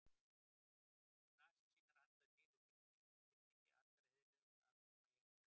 Út um nasir sínar andar dýrið hryllingi allra eyðilegustu afkima jarðarinnar.